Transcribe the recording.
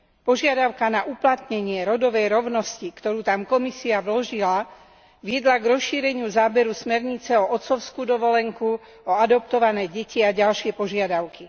Požiadavka na uplatnenie rodovej rovnosti, ktorú tam Komisia vložila, viedla k rozšíreniu záberu smernice o otcovskú dovolenku, o adoptované deti a ďalšie požiadavky.